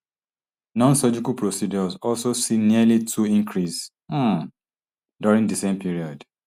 nonsurgical procedures also see nearly two increase um during di same period